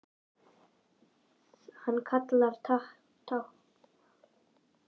Hann talar táknmál.